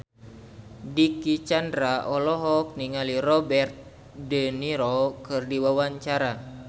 Dicky Chandra olohok ningali Robert de Niro keur diwawancara